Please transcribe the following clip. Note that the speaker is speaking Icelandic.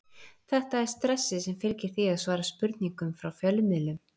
Þetta er stressið sem fylgir því að svara spurningum frá fjölmiðlum.